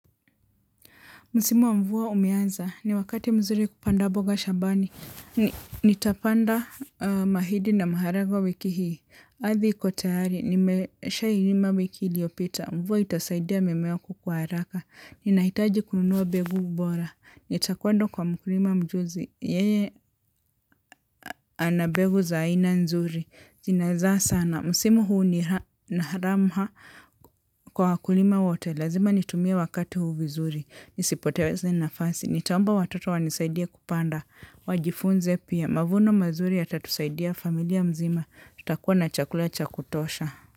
Msimu wa mvua umeaza. Ni wakati mzuri kupanda mboga shambani. Nitapanda mahidi na maharage wiki hii. Ardhi iko tayari. Nimesha ilima wiki iliopita. Mvua itasaidia mimea kukua haraka. Ninaitaji kununua mbegu bora. Nitakuenda kwa mkulima mjuzi. Yeye anabegu za aina nzuri. Zina zaa sana. Msimu huu ni naharamha kwa wakulima wote. Lazima nitumie wakati huu vizuri. Nisipoteeze nafasi. Nitaomba watoto wanisaidie kupanda, wajifunze pia, mavuno mazuri yatatusaidia familia mzima, tutakua na chakula cha kutosha.